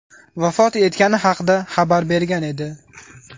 vafot etgani haqida xabar bergan edi.